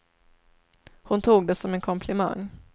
Hon tog det som en komplimang.